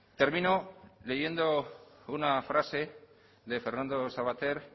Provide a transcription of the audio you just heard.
termino leyendo una frase de fernando savater